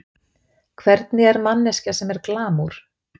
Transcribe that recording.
Hvernig er manneskja sem er glamúr?